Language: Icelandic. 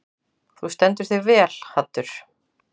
Þú stendur þig vel, Haddur!